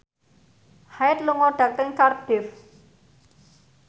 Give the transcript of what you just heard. Hyde lunga dhateng Cardiff